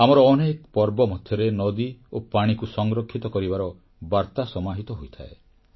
ଆମର ଅନେକ ପର୍ବ ମଧ୍ୟରେ ନଦୀ ଓ ପାଣିକୁ ସଂରକ୍ଷିତ କରିବାର ବାର୍ତା ସମାହିତ ହୋଇଥାଏ